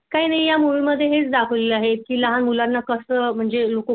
काही नाही या मूवी मध्ये हेच दाखवलेल आहे की लहान मुलांना कस म्हणजे